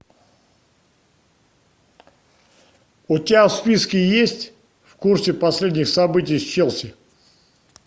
у тебя в списке есть в курсе последних событий с челси